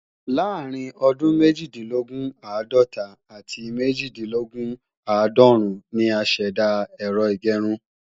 Láàárín ọdún méjìdínlógún- àádọ́ta àti méjìdínlógún-àádọ́rún ni a ṣẹ̀dá Ẹ̀rọ ìgẹrun